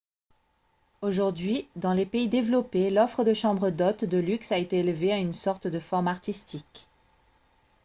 aujourd'hui dans les pays développés l'offre de chambres d'hôtes de luxe a été élevée à une sorte de forme artistique